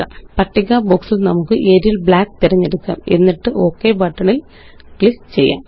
പട്ടിക ബോക്സില് നമുക്ക് ഏറിയൽ ബ്ലാക്ക് തിരഞ്ഞെടുക്കാം എന്നിട്ട് ഒക് ബട്ടണില് ക്ലിക്ക് ചെയ്യാം